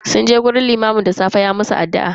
Sun je wajen limamin da safe ya musu addu'a.